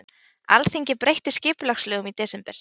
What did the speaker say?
Alþingi breytti skipulagslögum í desember